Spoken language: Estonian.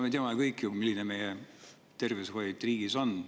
Me teame ju kõik, milline tervishoid meie riigis on.